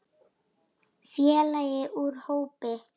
Félagi úr hópi